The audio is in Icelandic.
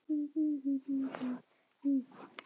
Það á að vera íbúð í kjallaranum í framtíðinni.